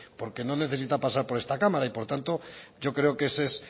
porque no necesita pasar por esta cámara y por tanto yo creo que ese es